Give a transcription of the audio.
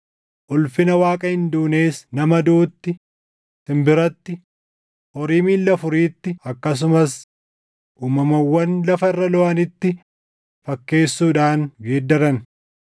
ulfina Waaqa hin duunees nama duʼutti, simbiratti, horii miilla afuriitti akkasumas uumamawwan lafa irra looʼanitti fakkeessuudhaan geeddaran.